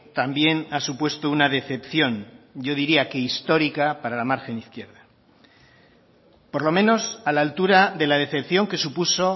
también ha supuesto una decepción yo diría que histórica para la margen izquierda por lo menos a la altura de la decepción que supuso